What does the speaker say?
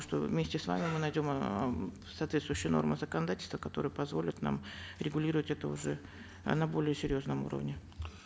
что вместе с вами мы найдем эээ соответствующие нормы законодательства которые позволят нам регулировать это уже э на более серьезном уровне